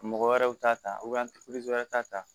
Mɔgɔ wɛrɛw t'a ta wɛrɛ t'a ta ta